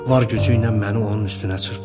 Var gücü ilə məni onun üstünə çırpdı.